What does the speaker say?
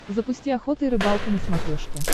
запусти охота и рыбалка на смотрешке